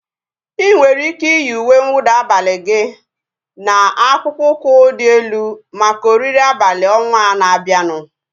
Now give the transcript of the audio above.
Ị nwere ike iyi uwe nwụda abalị gị na akpụkpọ ụkwụ dị elu maka oriri abalị ọnwaa na-abianu